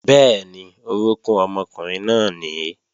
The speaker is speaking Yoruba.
Bẹ́ẹ̀ni, orókún ọmọkùnrin náà nìí